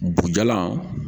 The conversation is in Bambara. Bugujalan